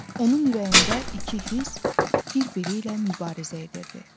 Onun ürəyində iki hiss bir-biri ilə mübarizə edirdi.